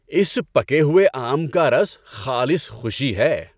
اس پکے ہوئے آم کا رس خالص خوشی ہے۔